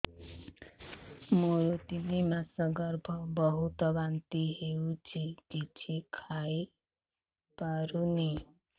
ମୋର ତିନି ମାସ ଗର୍ଭ ବହୁତ ବାନ୍ତି ହେଉଛି କିଛି ଖାଇ ପାରୁନି